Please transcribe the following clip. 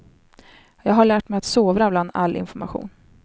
Jag har lärt mig att sovra bland all information.